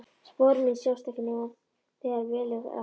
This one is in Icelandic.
Spor mín sjást ekki nema þegar vel er að gáð.